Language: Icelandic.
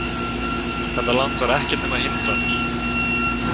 Þetta land var ekkert nema hindranir.